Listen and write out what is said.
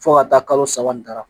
Fo ka taa kalo saba nin dara